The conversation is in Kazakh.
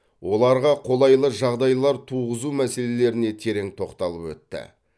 оларға қолайлы жағдайлар туғызу мәселеріне терең тоқталып өтті